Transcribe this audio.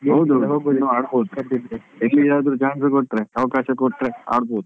ಹಾ ಇನ್ನೂ ಆಡ್ಬೋದು ಎಲ್ಲಿ ಆದ್ರು ಜಾಗ ಕೊಟ್ರೆ ಅವಕಾಶ ಕೊಟ್ರೆ ಆಡ್ಬೋದು.